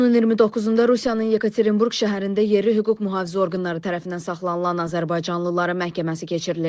İyunun 29-da Rusiyanın Yekaterinburq şəhərində yerli hüquq mühafizə orqanları tərəfindən saxlanılan azərbaycanlıların məhkəməsi keçiriləcək.